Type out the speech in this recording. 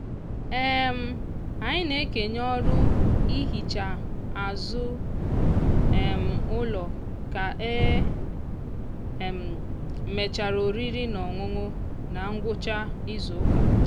um anyị na-ekenye ọrụ ihicha azụ um ụlọ ka e um mechara oriri na ọṅụṅụ na ngwụcha izuụka.